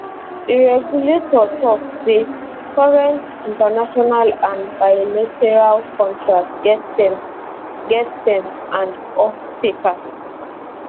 di regulator tok say current international and bilateral contracts get terms get terms and offtakers